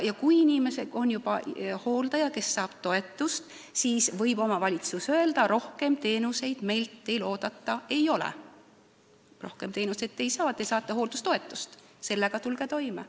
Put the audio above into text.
Kui inimesel on juba hooldaja, kes saab toetust, siis võib omavalitsus öelda, et rohkem teenuseid meilt oodata ei ole, rohkem teenuseid te ei saa, te saate hooldajatoetust, tulge sellega toime.